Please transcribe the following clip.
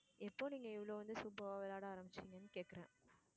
எப்போ நீங்க இவ்ளோ வந்து superb ஆ விளையாட ஆரம்பிச்சீங்கன்னு கேக்குறேன்.